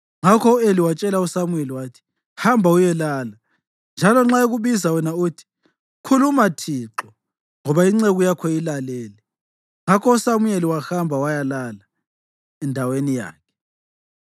Ngakho u-Eli watshela uSamuyeli wathi, “Hamba uyelala, njalo nxa ekubiza wena uthi, ‘Khuluma Thixo, ngoba inceku yakho ilalele.’ ” Ngakho uSamuyeli wahamba wayalala endaweni yakhe.